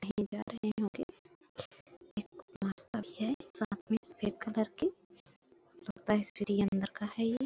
बहोत सारी है सामने एक सफ़ेद कलर की लगता है स्त्री अंदर का है ये--